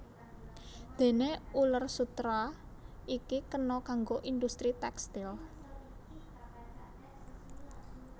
Déné uler sutera iki kena kanggo industri tékstil